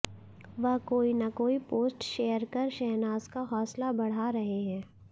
वह कोई ना कोई पोस्ट शेयर कर शहनाज का हौंसला बढ़ा रहे हैं